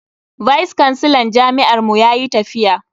Vice kansilan jami'ar mu yayi tafiya.